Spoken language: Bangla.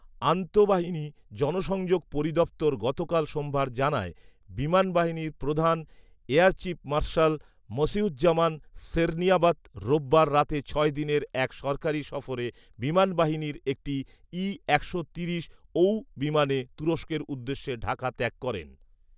আন্তঃবাহিনী জনসংযোগ পরিদফতর গতকাল সোমবার জানায়, বিমান বাহিনী প্রধান air chief marshal Masihuzzaman Serniabat রোববার রাতে ছয় দিনের এক সরকারি সফরে বিমান বাহিনীর একটি ঈ একশো তিরিশ বিমানে তুরস্কের উদ্দেশে ঢাকা ত্যাগ করেন